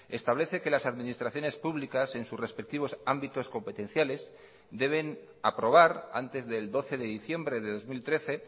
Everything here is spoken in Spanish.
establece que las administraciones públicas en sus respectivos ámbitos competenciales deben aprobar antes del doce de diciembre de dos mil trece